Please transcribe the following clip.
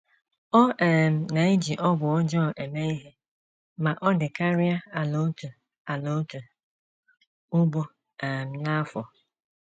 Ọ um na - eji ọgwụ ọjọọ eme ihe ma ọ dịkarịa ala otu ala otu ugbo um n’afọ.